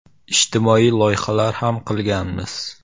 Ijtimoiy loyihalar ham qilganmiz.